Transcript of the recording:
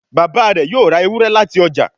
Bàbá rẹ yóò rá Ewúrẹ́ láti ọjà.